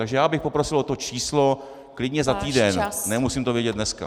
Takže já bych poprosil o to číslo, klidně za týden, nemusím to vědět dneska.